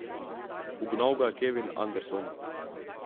Ugnal ga je Kevin Anderson.